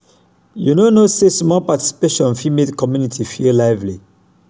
you no know sey small participation fit make community feel lively.